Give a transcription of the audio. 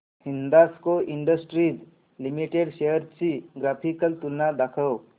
Hindalco industries limited shares ची graphical तुलना दाखव